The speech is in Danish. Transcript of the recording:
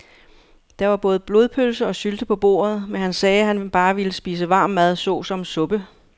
Der var både blodpølse og sylte på bordet, men han sagde, at han bare ville spise varm mad såsom suppe.